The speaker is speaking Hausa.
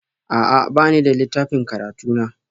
A'a, ba ni da littafin karatu na